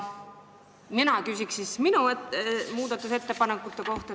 Mina küsin oma muudatusettepanekute kohta.